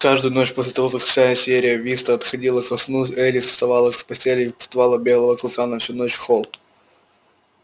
каждую ночь после того как вся сиерра виста отходила ко сну элис вставала с постели и впускала белого клыка на всю ночь в холл